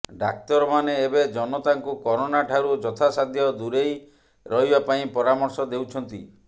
ଡାକ୍ତରମାନେ ଏବେ ଜନତାଙ୍କୁ କରୋନାଠାରୁ ଯଥାସାଧ୍ୟ ଦୂରେଇ ରହିବା ପାଇଁ ପରାମର୍ଶ ଦେଉଛନ୍ତି